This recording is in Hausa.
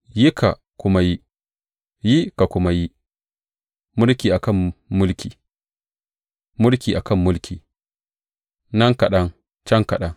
Yi ka kuma yi, yi ka kuma yi, mulki a kan mulki, mulki a kan mulki; nan kaɗan, can kaɗan.